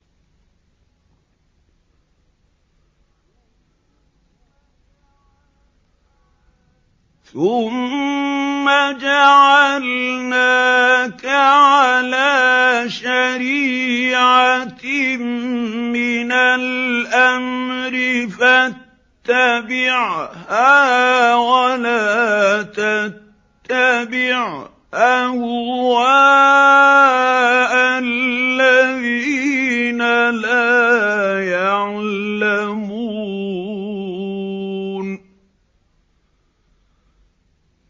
ثُمَّ جَعَلْنَاكَ عَلَىٰ شَرِيعَةٍ مِّنَ الْأَمْرِ فَاتَّبِعْهَا وَلَا تَتَّبِعْ أَهْوَاءَ الَّذِينَ لَا يَعْلَمُونَ